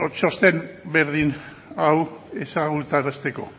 txosten berdin hau ezagutarazteko